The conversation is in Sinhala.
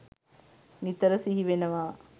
නිතර සිහි වෙනවා.